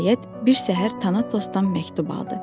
Nəhayət, bir səhər Tanatosdan məktub aldı.